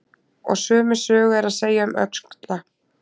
Og sömu sögu er að segja um öxla.